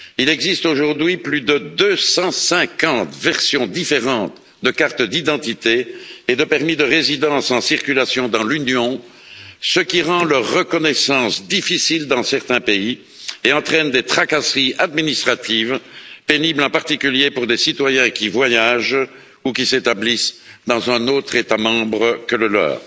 Il existe aujourd'hui plus de 250 versions différentes de cartes d'identité et de permis de séjour en circulation dans l'Union, ce qui rend leur reconnaissance difficile dans certains pays et entraîne des tracasseries administratives pénibles, en particulier pour les citoyens qui voyagent ou qui s'établissent dans un autre État membre que le leur.